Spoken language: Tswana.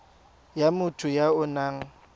ya motho ya o nang